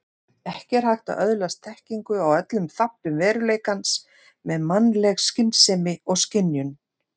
Ekki er hægt að öðlast þekkingu á öllum þáttum veruleikans með mannleg skynsemi og skynjun.